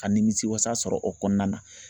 Ka nimisiwasa sɔrɔ o kɔnɔna na